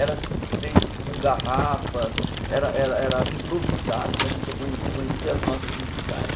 Era feito com garrafas, era era era improvisado para a gente acon conhecer as notas musicais.